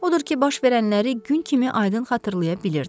Odur ki, baş verənləri gün kimi aydın xatırlaya bilirdi.